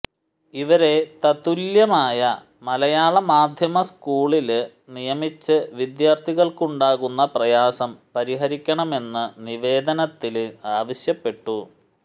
ഇവരെ തത്തുല്യമായ മലയാള മാധ്യമ സ്കൂളില് നിയമിച്ച് വിദ്യാര്ഥികള്ക്കുണ്ടാകുന്ന പ്രയാസം പരിഹരിക്കണമെന്ന് നിവേദനത്തില് ആവശ്യപ്പെട്ടു